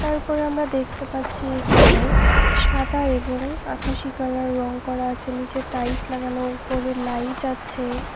তারপর আমরা দেখতে পাচ্ছি এখানে সাদা এবং আকাশী কালার রং করা আছে নিচে টাইলস লাগানো উপরে লাইট আছে।